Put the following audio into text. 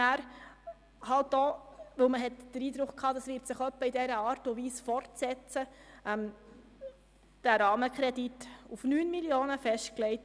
Weil man den Eindruck hatte, es würde sich ungefähr in dieser Art und Weise fortsetzen, legte man den Rahmenkredit auf 9 Mio. Franken fest.